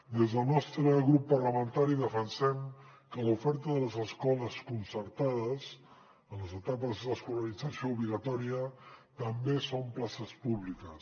des del nostre grup parlamentari defensem que l’oferta de les escoles concertades en les etapes d’escolarització obligatòria també són places públiques